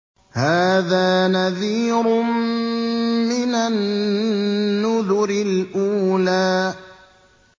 هَٰذَا نَذِيرٌ مِّنَ النُّذُرِ الْأُولَىٰ